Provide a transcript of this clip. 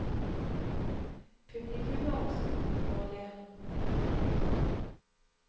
Publikum har også behov for å le.